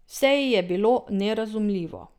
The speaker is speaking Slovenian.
Vse ji je bilo nerazumljivo.